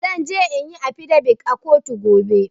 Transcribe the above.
Zanje inyi afidabit a kotu